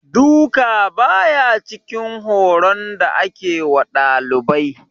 Duka, ba ya cikin horon da ake wa dalibai.